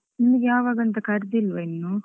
ನಿಮ್ಗೆ ಯಾವಾಗಂತ ಕರ್ದಿಲ್ವಾ ಇನ್ನು?